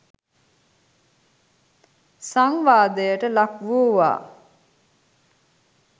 සංවාදයට ලක් වූවා.